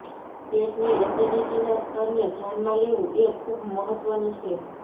પેટની એસિડિટીના સ્તરને ધ્યાનમાં લેવું એ ખૂબ મહત્વનું છે